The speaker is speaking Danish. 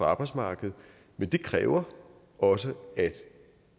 arbejdsmarkedet men det kræver også at